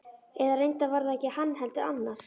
Eða reyndar var það ekki hann, heldur annar.